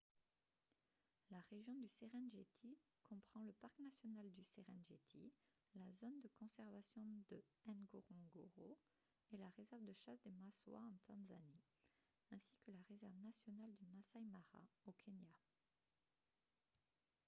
la région du serengeti comprend le parc national du serengeti la zone de conservation de ngorongoro et la réserve de chasse des maswa en tanzanie ainsi que la réserve nationale du masai mara au kenya